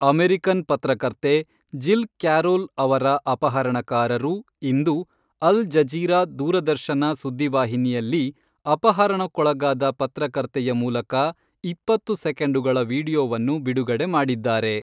American ಪತ್ರಕರ್ತೆ Jill Carroll ಅವರ ಅಪಹರಣಕಾರರು ಇಂದು ಅಲ್ ಜಜೀರಾ ದೂರದರ್ಶನ ಸುದ್ದಿ ವಾಹಿನಿಯಲ್ಲಿ ಅಪಹರಣಕ್ಕೊಳಗಾದ ಪತ್ರಕರ್ತೆಯ ಮೂಲಕ ಇಪ್ಪತ್ತು ಸೆಕೆಂಡುಗಳ ವೀಡಿಯೊವನ್ನು ಬಿಡುಗಡೆ ಮಾಡಿದ್ದಾರೆ.